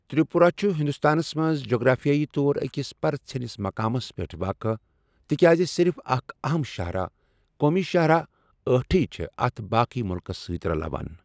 تِرٛپوٗراہ چُھ ہِنٛدُستانس منٛز جغرافِیٲیی طور أکِس پرٕژھینِس مُقامس پیٚٹھ واقع، تِکیازِ صِرِف اَکھ اَہم شاہراہ، قومی شاہراہ أٹھے چھے٘ اتھ باقٕیہ مُلکس سۭتۍ رَلاوان۔